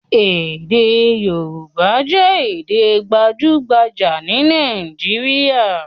Èdè Yorùbá jẹ́ Èdè gbajúgbajà ní Nàìjíríà